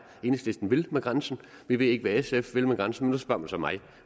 enhedslisten vil med grænsen vi ved ikke hvad sf vil med grænsen men nu spørger man så mig